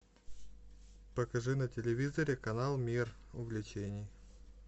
покажи на телевизоре канал мир увлечений